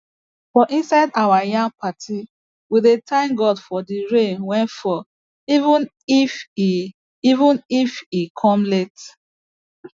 for inside our yam party we dey thank god for the rain wey fall even if e even if e come late